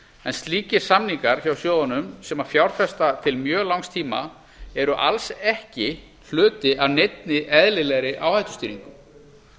en slíkir samningar hjá sjóðunum sem fjárfesta til mjög langs tíma eru alls ekki hluti af neinni eðlilegri áhættustýringu